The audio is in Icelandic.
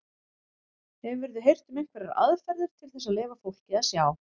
Hefurðu heyrt um einhverjar aðferðir til þess að leyfa fólki að sjá?